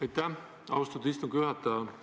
Aitäh, austatud istungi juhataja!